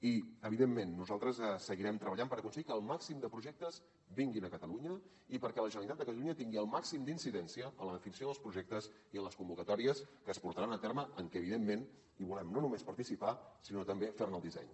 i evidentment nosaltres seguirem treballant per aconseguir que el màxim de projectes vinguin a catalunya i perquè la generalitat de catalunya tingui el màxim d’incidència en la definició dels projectes i les convocatòries que es portaran a terme en què evidentment volem no només participar sinó també fer ne el disseny